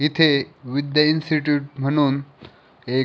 इथे विद्या इन्स्टिटयूट म्हणून एक--